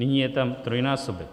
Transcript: Nyní je tam trojnásobek.